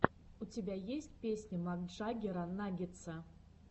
у тебя есть песня макджаггера наггетса